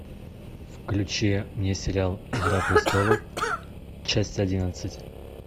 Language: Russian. включи мне сериал игра престолов часть одиннадцать